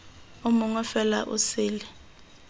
o mongwe fela o sele